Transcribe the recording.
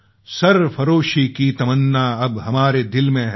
सरफ़रोशी की तमन्ना अब हमारे दिल में है